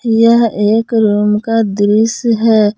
यह एक रूम का दृश्य है।